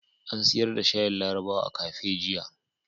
An siyar da shayin larabawa a kafe jiya.